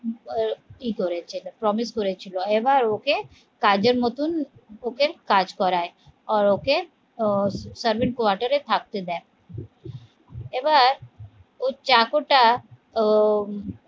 করেছে promise করেছিল এবার ওকে কাজের মতন ওকে কাজ করায়, আর ওকে আহ servant এ থাকতে দেয় এবার ওর চাকরটা উম